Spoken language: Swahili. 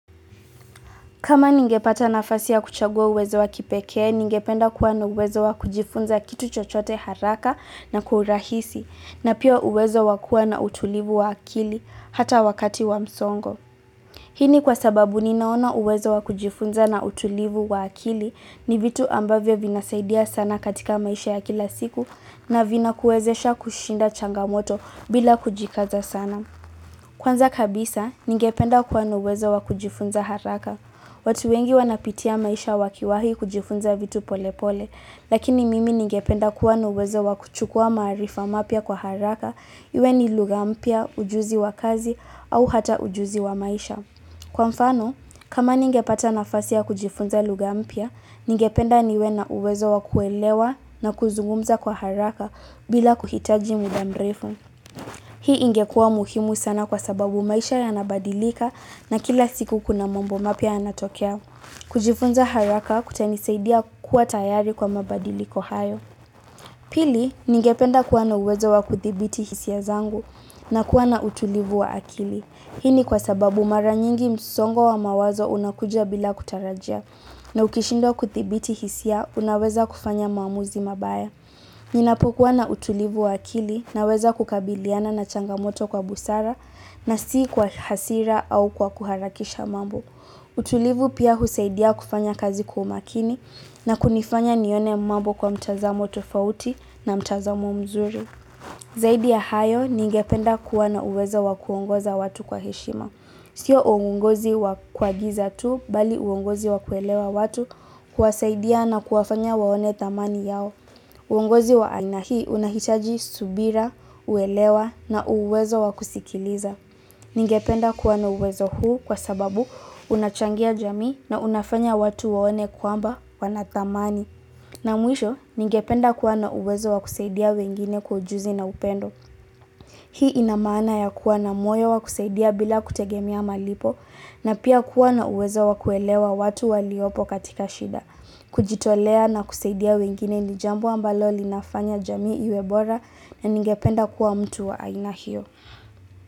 Kama ningepata nafasi ya kuchagua uwezo wa kipeke, ningependa kuwa na uwezo wa kujifunza kitu chochote haraka na kwa urahisi, na pia uwezo wa kuwa na utulivu wa akili, hata wakati wa msongo. Hii ni kwa sababu ninaona uwezo wa kujifunza na utulivu wa akili ni vitu ambavyo vinasaidia sana katika maisha ya kila siku na vina kuwezesha kushinda changamoto bila kujikaza sana. Kwanza kabisa, ningependa kuwa na uwezo wa kujifunza haraka. Watu wengi wanapitia maisha wakiwahi kujifunza vitu pole pole, lakini mimi ningependa kuwa na uwezo wa kuchukua maarifa mapya kwa haraka, iwe ni lugha mpya, ujuzi wa kazi, au hata ujuzi wa maisha. Kwa mfano, kama ningepata nafasi ya kujifunza lugha mpya, ningependa niwe na uwezo wa kuelewa na kuzungumza kwa haraka bila kuhitaji muda mrefu. Hii ingekua muhimu sana kwa sababu maisha yanabadilika na kila siku kuna mambo mapya yanatokea. Kujifunza haraka kutanisaidia kuwa tayari kwa mabadiliko hayo. Pili, ningependa kuwa na uwezo wa kuthibiti hisia zangu na kuwa na utulivu wa akili. Hii ni kwa sababu mara nyingi msongo wa mawazo unakuja bila kutarajia. Na ukishindwa kuthibiti hisia, unaweza kufanya maamuzi mabaya. Ninapokuwa na utulivu wa akili naweza kukabiliana na changamoto kwa busara na si kwa hasira au kwa kuharakisha mambo. Utulivu pia husaidia kufanya kazi umakini na kunifanya nione mambo kwa mtazamo tofauti na mtazamo mzuri. Zaidi ya hayo, ningependa kuwa na uwezo wa kuongoza watu kwa heshima. Sio uongozi wa kuagiza tu, bali uongozi wa kuelewa watu kuwasaidia na kuwafanya waone thamani yao. Uongozi wa aina hii unahitaji subira, uelewa na uwezo wa kusikiliza. Ningependa kuwa na uwezo huu, kwa sababu, unachangia jamii na unafanya watu waone kwamba wana thamani. Na mwisho, ningependa kuwa na uwezo wa kusaidia wengine kwa ujuzi na upendo. Hii ina maana ya kuwa na moyo wakusaidia bila kutegemea malipo na pia kuwa na uwezo wa kuelewa watu waliopo katika shida. Kujitolea na kusaidia wengine ni jambo ambalo linafanya jamii iwe bora na ningependa kuwa mtu wa aina hiyo.